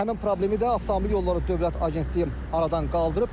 Həmin problemi də avtomobil yolları dövlət agentliyi aradan qaldırıb.